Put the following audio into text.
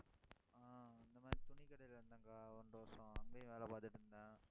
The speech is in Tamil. ஆஹ் இந்த மாதிரி, துணிக்கடையில இருந்தேன் அக்கா ஒன்றரை வருஷம் அங்கேயும் வேலை பார்த்துட்டு இருந்தேன்.